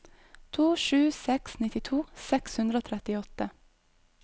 to sju to seks nittito seks hundre og trettiåtte